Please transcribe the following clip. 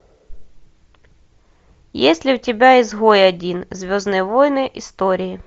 есть ли у тебя изгой один звездные войны истории